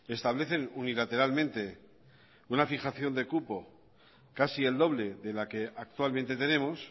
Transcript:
establecen unilateralmente una fijación de cupo casi el doble de la que actualmente tenemos